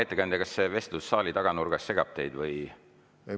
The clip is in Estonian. Ettekandja, kas see vestlus saali taganurgas segab teid?